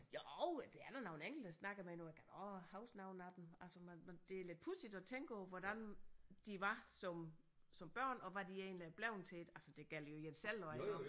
Jo der er da nogle enkelte jeg snakker med nu jeg kan da også huske nogle af dem altså men men det er lidt pudsigt at tænke på hvordan de var som som børn og hvad de egentlig er blevet til altså det gælder jo en selv også iggå